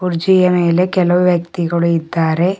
ಕುರ್ಚಿಯ ಮೇಲೆ ಕೆಲವು ವ್ಯಕ್ತಿಗಳು ಇದ್ದಾರೆ.